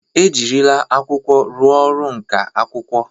E jirila akwụkwọ rụọ ọrụ nka akwụkwọ.